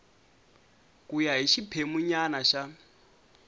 ku ya hi xiphemunyana xa